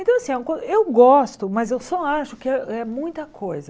Então, assim, é uma co eu gosto, mas eu só acho que é é muita coisa.